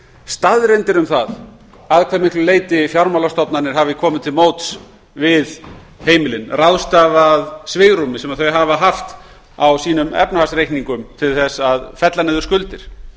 staðreyndir um það að hve miklu leyti fjármálastofnanir hafi komið til móts við heimilin ráðstafað svigrúmi sem þau hafa haft á efnahagsreikningum sínum til þess að fella niður skuldir